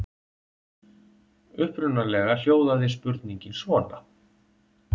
Upprunalega hljóðaði spurningin svona: